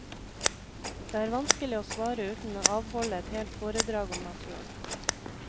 Det er vanskelig å svare uten å avholde et helt fordrag om naturen.